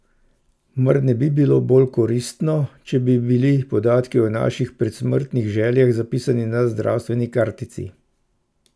Mar ne bi bilo bolj koristno, če bi bili podatki o naših predsmrtnih željah zapisani na zdravstveni kartici?